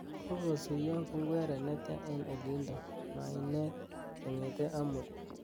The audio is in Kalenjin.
Kogosuiyo pungweret netya eng olindo mainet kongete amut